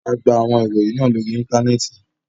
A gba awọn iroyin naa lori Intanẹẹti